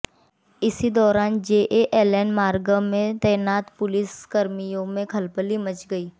इसी दौरान जेएलएन मार्ग तैनात पुलिस कर्मियों में खलबली मच गई